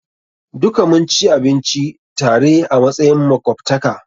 Duka mun ci abinci tare a matsayin makwabtaka.